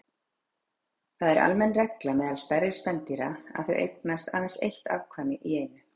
Það er almenn regla meðal stærri spendýra að þau eignist aðeins eitt afkvæmi í einu.